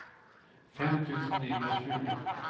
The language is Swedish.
fem tusen niohundratjugo